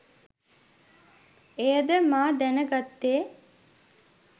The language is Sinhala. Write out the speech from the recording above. එයද මා දැන ගත්තේ